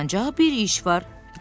Ancaq bir iş var.